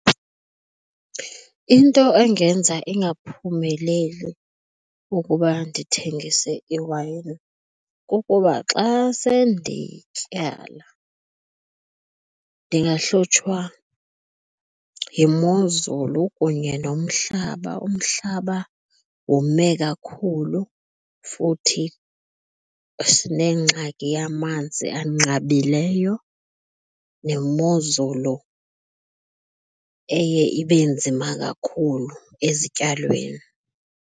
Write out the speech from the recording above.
Into engenza ingaphumeleli ukuba ndithengise iwayini kukuba xa sendityala, ndingahlutshwa yimozulu kunye nomhlaba. Umhlaba wome kakhulu futhi sinengxaki yamanzi anqabileyo nemozulu eye ibe nzima kakhulu ezityalweni.